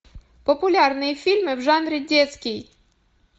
популярные фильмы в жанре детский